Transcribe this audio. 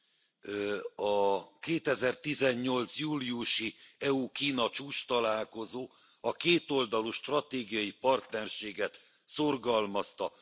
A 2018 júliusi EU Kína csúcstalálkozó a kétoldalú stratégiai partnerséget szorgalmazta.